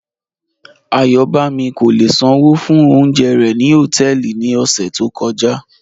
Ayọ̀bámi kò lè ṣánwó fún ọ̀unjẹ̀ rẹ̀ ni họtẹẹlì ni ọṣẹ̀ tó kọja